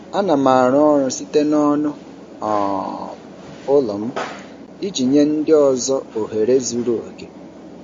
Ana m arụ ọrụ site n'ọnụ um ụlọ m iji nye ndị ọzọ ohere zuru oke.